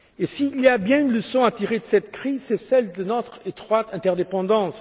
S'il y a bien une leçon à tirer de cette crise, c'est celle de notre étroite interdépendance.